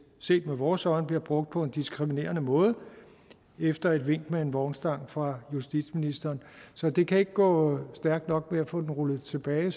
set med vores øjne bliver brugt på en diskriminerende måde efter et vink med en vognstang fra justitsministeren så det kan ikke gå stærkt nok med at få den rullet tilbage